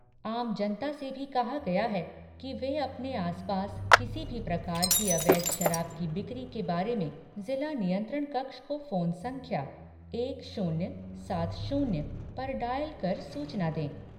आम जनता से भी कहा गया है कि वे अपने आस पास किसी भी प्रकार की अवैध शराब की बिक्री के बारे में जिला नियंत्रण कक्ष को फोन संख्या एक शून्य सात शून्य पर डायल कर सूचना दें।